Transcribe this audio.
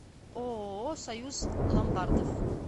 ооо союз ломбардов